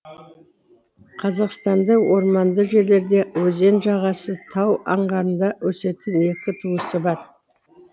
қазақстанда орманды жерлерде өзен жағасы тау аңғарында өсетін екі туысы бар